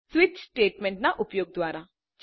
switch statement ના ઉપયોગ દ્વારા